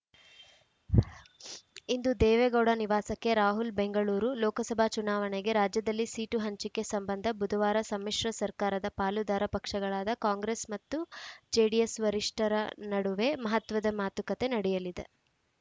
ಇಂದು ದೇವೇಗೌಡ ನಿವಾಸಕ್ಕೆ ರಾಹುಲ್‌ ಬೆಂಗಳೂರು ಲೋಕಸಭಾ ಚುನಾವಣೆಗೆ ರಾಜ್ಯದಲ್ಲಿ ಸೀಟು ಹಂಚಿಕೆ ಸಂಬಂಧ ಬುಧವಾರ ಸಮ್ಮಿಶ್ರ ಸರ್ಕಾರದ ಪಾಲುದಾರ ಪಕ್ಷಗಳಾದ ಕಾಂಗ್ರೆಸ್‌ ಮತ್ತು ಜೆಡಿಎಸ್‌ ವರಿಷ್ಠರ ನಡುವೆ ಮಹತ್ವದ ಮಾತುಕತೆ ನಡೆಯಲಿದೆ